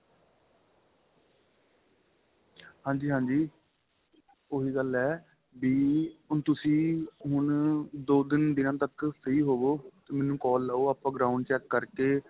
ਹਾਂਜੀ ਹਾਂਜੀ ਉਹੀ ਗੱਲ ਏ ਵੀ ਤੁਸੀਂ ਹੁਣ ਦੋ ਤਿੰਨ ਦਿਨਾਂ ਤੱਕ free ਹੋਵੇ ਤੇ ਮੈਨੂੰ call ਲਾਵੋ ਆਪਾਂ ground check ਕਰਕੇ